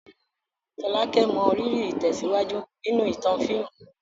Folake mọrírì ìtẹ̀síwájú nínú ìtàn fíìmù.